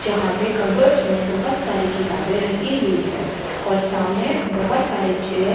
जहाँ पे कबर्ड्स में बोहोत सारी किताबें रखी हुई हैं और सामने बोहोत सारे चेयर --